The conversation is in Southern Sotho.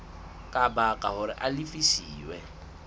ka baka hore a lefiswe